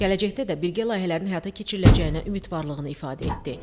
Gələcəkdə də birgə layihələrin həyata keçiriləcəyinə ümidvarlığını ifadə etdi.